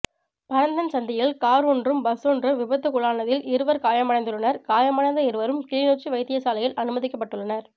பரந்தன் சந்தியில் கார் ஒன்றும் பஸ் ஒன்றும் விபத்துக்குள்ளானதில் இருவர் காயமடைந்துள்ளனர் காயமடைந்த இருவரும் கிளிநொச்சி வைத்தியசாலையில் அனுமதிக்கப்பட்டுள்ளனர்